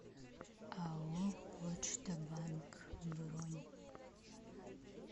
ао почта банк бронь